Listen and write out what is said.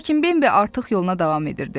Lakin Bambi artıq yoluna davam edirdi.